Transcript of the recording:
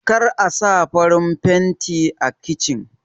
Kar Asa farin fanti a kichin